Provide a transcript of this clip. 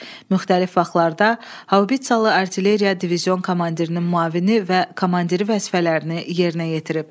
Müxtəlif vaxtlarda haubitsalı artilleriya divizion komandirinin müavini və komandiri vəzifələrini yerinə yetirib.